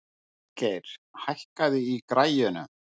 Falgeir, hækkaðu í græjunum.